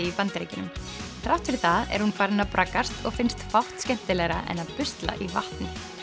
í Bandaríkjunum þrátt fyrir það er hún farin að braggast og finnst fátt skemmtilegra en að busla í vatni